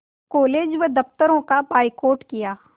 college व दफ़्तरों का बायकॉट किया